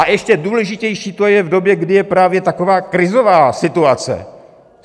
A ještě důležitější to je v době, kdy je právě taková krizová situace.